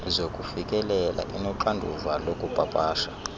zokufikelela inoxanduva lokupapasha